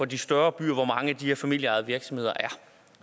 de større byer hvor mange af de her familieejede virksomheder